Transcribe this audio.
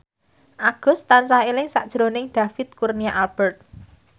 Agus tansah eling sakjroning David Kurnia Albert